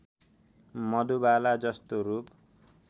मधुबाला जस्तो रूप